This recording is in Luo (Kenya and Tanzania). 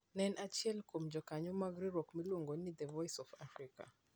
Ne en achiel kuom jokanyo mag riwruok miluongo ni "The Voice of Africa".